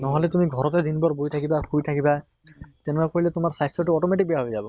নহʼলে তুমি ঘৰতে দিন ভৰ বহি থাইবা, শুই থাকিবা তেনেকুৱা কৰিলে তোমাৰ স্বাস্থ্য়টো automatic বেয়া হৈ যাব।